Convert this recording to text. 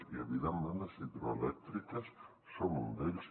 i evidentment les hidroelèctriques són un d’ells